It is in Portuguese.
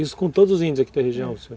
Isso com todos os índios aqui da região,